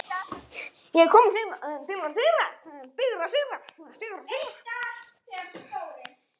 Hafið þið heyrt þetta aftur?